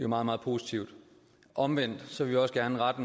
meget meget positivt omvendt vil vi også gerne rette